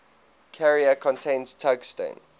carrier contains tungsten